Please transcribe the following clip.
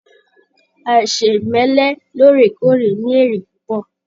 Aisemẹlẹ lóòrèkóòrè ní èrè púpọ.